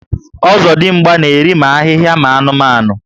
Ozodimgba na eri ma ahịhịa ma anụmanụ